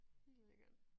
Det lækkert